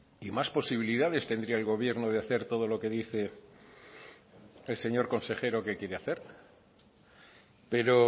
y más posibilidades tendría el gobierno de hacer todo lo que dice el señor consejero que quiere hacer pero